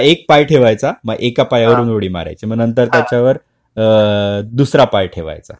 हां एक पाय ठेवायचा मग एका पायावरून उडी मारायची. मग नंतर त्याच्यावर दुसरा पाय ठेवायचा.